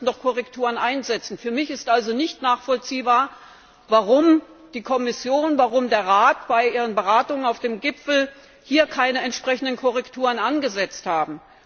Hier müssten die Korrekturen einsetzen. Für mich ist also nicht nachvollziehbar, warum die Kommission und der Rat bei ihren Beratungen auf dem Gipfel keine entsprechenden Korrekturen angesetzt haben.